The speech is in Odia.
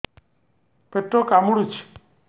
ପେଟ କାମୁଡୁଛି